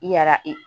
I yara e